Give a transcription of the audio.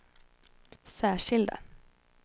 särskilda